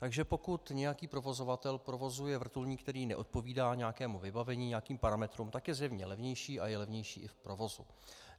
Takže pokud nějaký provozovatel provozuje vrtulník, který neodpovídá nějakému vybavení, nějakým parametrům, tak je zjevně levnější a je levnější i v provozu.